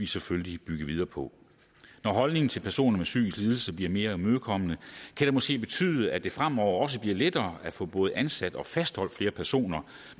selvfølgelig bygge videre på når holdningen til personer med psykisk lidelse bliver mere imødekommende kan det måske betyde at det fremover også bliver lettere at få både ansat og fastholdt flere personer